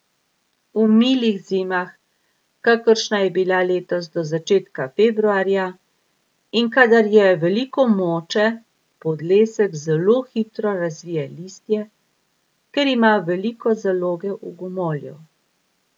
V milih zimah, kakršna je bila letos do začetka februarja, in kadar je veliko moče, podlesek zelo hitro razvije listje, ker ima veliko zaloge v gomolju.